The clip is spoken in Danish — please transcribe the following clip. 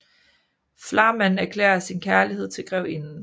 Flamand erklærer sin kærlighed til grevinden